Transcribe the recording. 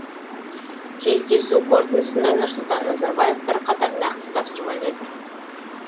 кездесу қорытындысында нұрсұлтан назарбаев бірқатар нақты тапсырма берді